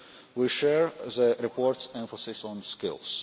We share the report's emphasis on skills.